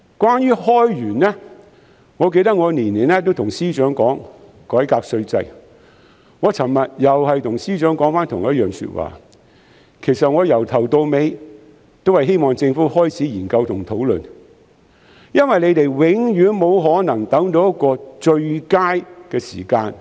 關於開源，我記得我每年都會跟司長說改革稅制，我昨天又再跟司長說同一番說話，其實我由頭到尾只是希望政府開始研究和討論，因為它永遠沒有可能等到一個最佳的時間以改革稅制。